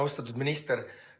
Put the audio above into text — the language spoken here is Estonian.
Austatud minister!